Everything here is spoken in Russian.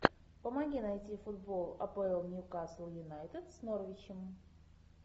помоги найти футбол апл ньюкасл юнайтед с норвичем